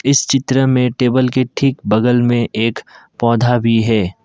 इस चित्र में टेबल के ठीक बगल में एक पौधा भी है।